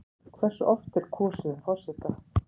Hversu oft er kosið um forseta?